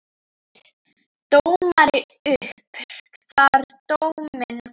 Dómari upp þar dóminn kvað.